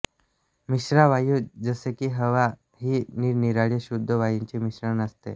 मिश्रावायू जसेकी हवा ही निरनिराळ्या शुद्ध वायूंचे मिश्रण असते